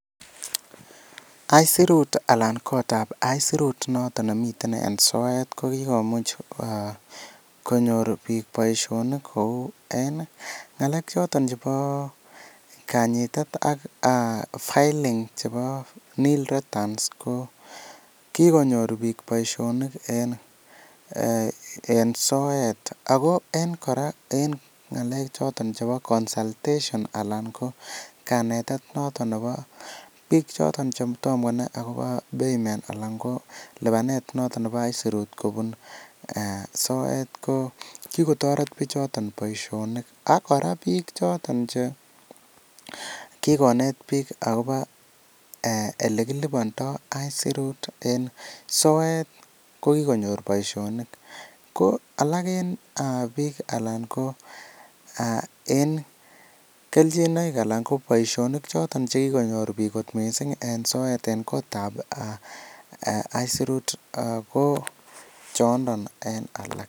Aisurut anan kotab aisurut noton nemiten en soet ko kigomuch konyor biik boisiionik kou en ngalek choton chebo kanyitet ak filing chebo nil returns ko kigonyor biik boisionik en soet ago en kora en ng'alek choton chebo consultation anan ko kanetet noton nebo biik choton che tom konai agobo payment alan ko lipanet noton nebo aisurut kobun soet ko kigotoret bichoton boiisonik ak kora biik choton che kigonet biik agobo ole kilipondo aisurut en soet ko kigonyor boisionik ko alak en biik alan ko en kelchinoik anan ko boisionik choton che kigonyor biik mising en soet en kotab aisurut ko chondon en alak.